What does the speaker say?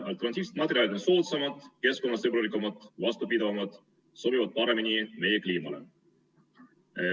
Alternatiivsed materjalid on soodsamad, keskkonnasõbralikumad, vastupidavamad, sobivad paremini meie kliimasse.